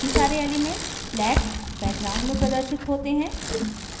बाकी सारे elements black background में प्रदर्शित होते हैं